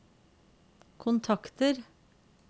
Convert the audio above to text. kontakter